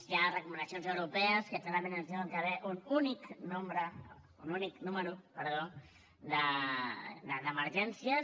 hi ha recomanacions europees que clarament ens diuen que hi ha d’haver un únic número d’emergències